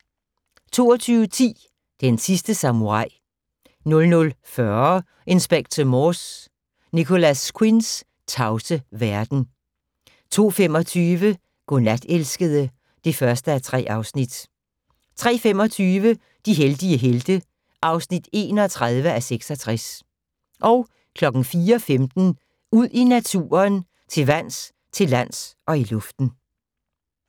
22:10: Den sidste samurai 00:40: Inspector Morse: Nicholas Quinns tavse verden 02:25: Godnat, elskede (1:3) 03:25: De heldige helte (31:66) 04:15: Ud i naturen: Til vands, til lands og i luften